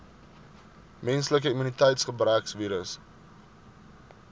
menslike immuniteitsgebrekvirus